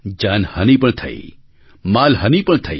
જાનહાનિ પણ થઈ માલહાનિ પણ થઈ